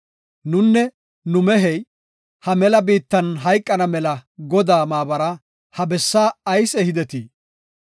Nunne nu mehey ha mela biittan hayqana mela Godaa maabara ha bessa ayis ehidetii?